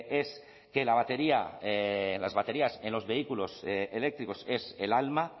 es que las baterías en los vehículos eléctricos es el alma